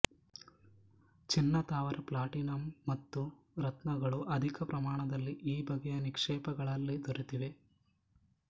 ಚಿನ್ನ ತವರ ಪ್ಲಾಟಿನಮ್ ಮತ್ತು ರತ್ನಗಳು ಅಧಿಕ ಪ್ರಮಾಣದಲ್ಲಿ ಈ ಬಗೆಯ ನಿಕ್ಷೇಪಗಳಲ್ಲಿ ದೊರೆತಿವೆ